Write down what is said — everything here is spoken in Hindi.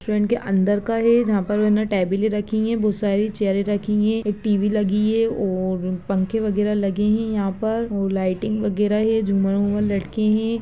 ट्रेन के अंदर का है जहाँ पर उन्होंने टैबलें रखीं हैं बहुत सारी चेयरें रखीं हैं एक टीवी लगी है और पंखे वगैरह लगे हैं यहाँ पर और लाइटिंग वगैरह हैं झूमर उमर लटके हैं।